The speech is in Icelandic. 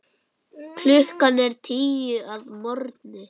Klukkan er tíu að morgni.